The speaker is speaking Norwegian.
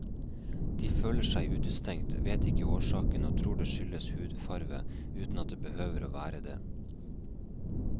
De føler seg utestengt, vet ikke årsaken og tror det skyldes hudfarve, uten at det behøver å være det.